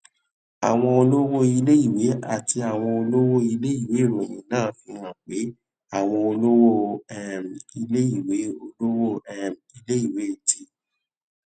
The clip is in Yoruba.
àwọn olówó iléèwé àti àwọn olówó iléèwé ìròyìn náà fi hàn pé àwọn olówó um iléèwé olówó um iléèwé ti